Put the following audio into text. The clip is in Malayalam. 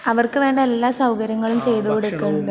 അവർക്ക് വേണ്ട എല്ലാ സൗകര്യങ്ങളും ചെയ്തുകൊടുക്കുന്നുണ്ട്...